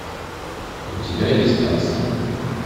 у тебя есть такса